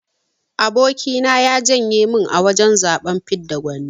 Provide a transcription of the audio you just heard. Aboki na ya janye min a wajan zaben fidda gwani.